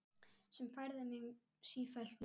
Sem færði mig sífellt nær